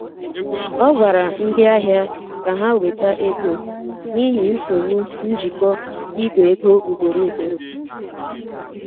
Ọ gwara ndị ahịa ka ha weta ego n'ihi nsogbu njikọ Ìgwè ego ugboro ugboro.